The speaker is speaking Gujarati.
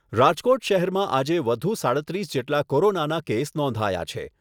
રાજકોટ શહેરમાં આજે વધુ સાડત્રીસ જેટલા કોરોનાના કેસ નોંધાયા છે.